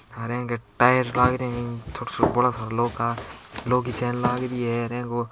हार ए के टायर लाग रहा है बोला सारा लौह का लौह की चैन लागरी है ए को --